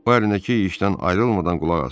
O əlindəki işdən ayrılmadan qulaq asır.